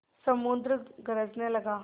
समुद्र गरजने लगा